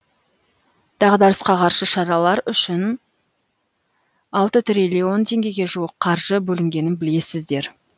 дағдарысқа қарсы шаралар үшін алты триллион теңгеге жуық қаржы бөлінгенін білесіздер